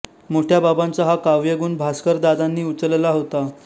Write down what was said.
मोठ्या बाबांचा हा काव्यगुण भास्कर दादांनी उचलला होता